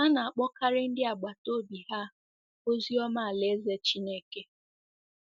Ha na-akpọkarị ndị agbata obi ha ozi ọma Alaeze Chineke.